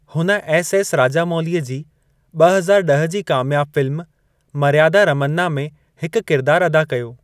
हुन S. S. राजामौलीअ जी ब॒ हज़ार ड॒ह जी क़ामियाबु फ़िल्म मर्यादा रमन्ना में हिकु किरदार अदा कयो।